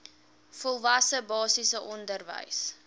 volwasse basiese onderwys